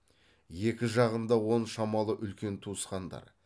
екі жағында он шамалы үлкен туысқандар